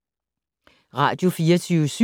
Radio24syv